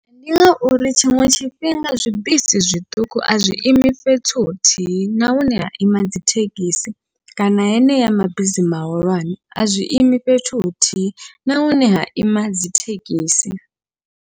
Ndi ngauri tshiṅwe tshifhinga zwibisi zwiṱuku azwi imi fhethu huthihi, na hune ha ima dzithekhisi kana heneya mabisi mahulwane a zwiimi fhethu huthihi na hune ha ima dzithekhisi.